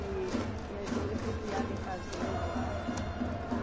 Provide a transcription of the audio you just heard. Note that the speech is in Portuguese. E e a gente, eu fui criada em fazenda lá.